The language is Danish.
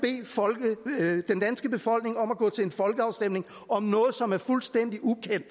bede den danske befolkning om at gå til en folkeafstemning om noget som er fuldstændig ukendt